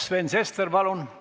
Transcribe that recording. Sven Sester, palun!